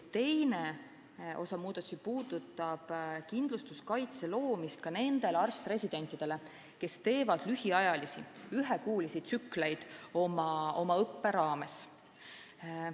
Teine osa muudatusi puudutab kindlustuskaitse loomist ka nendele arst-residentidele, kes teevad lühiajalisi, ühekuulisi tsükleid oma õppe raames.